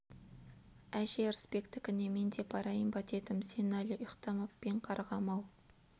әже ырысбектікіне мен де барайын ба дедім сен әлі ұйықтамап па ең қарғам-ау